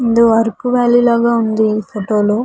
ముందు అరకు వాలి లాగా ఉంది ఈ ఫోటో లో.